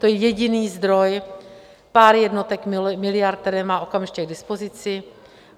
To je jediný zdroj, pár jednotek miliard, které má okamžitě k dispozici.